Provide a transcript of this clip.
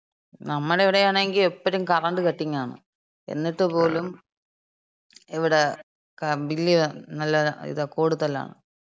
നമ്മടെ അവിടെയാണെങ്കി എപ്പഴും കറണ്ട് കട്ടിംഗാണ്. എന്നിട്ടും പോലും ഇവിടെ കറ, ബില്ല് നല്ല ഇത, കൂടുതലാണ്.